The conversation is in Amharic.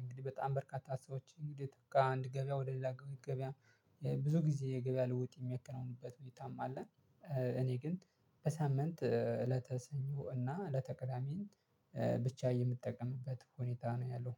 እንግዲህ በጣም በርካታ ሰዎች እንግዲህ ከአንድ ገበያ ወደ ሌላ ገበያ ብዙ ጊዜ የገበያ ልውውጥ የሚከነውኑበት ሁኔታም አለ። እኔ ግን በሳምንት እለተ ሰኞ እና እለተ ቅዳሜን ብቻ የምጠቀምበት ሁኔታ ነው ያለው